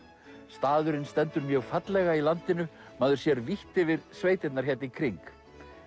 staðurinn stendur mjög fallega í landinu maður sér vítt yfir sveitirnar hérna í kring